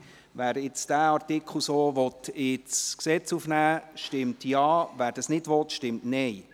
Wer diesen Artikel so ins Gesetz aufnehmen will, stimmt Ja, wer das nicht will, stimmt Nein.